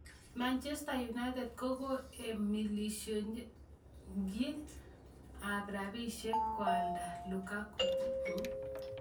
Manchester United kokoeshonmilionisiek ab rabisiek koalda Lukaku